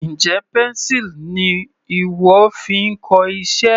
Njẹ́ pencil ni ìwọ fi ń kọ iṣẹ́?